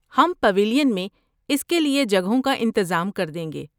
ہم پیویلین میں اس کے لیے جگہوں کا انتظام کر دیں گے۔